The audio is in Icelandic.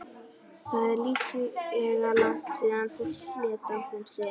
Það er líklega langt síðan fólk lét af þeim sið.